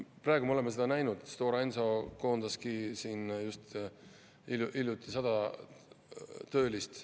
Praegu me oleme seda näinud, Stora Enso koondaski just hiljuti 100 töölist.